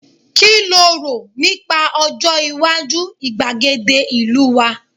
ki lo ro nipa Ojo iwaju igbagede ìlú wa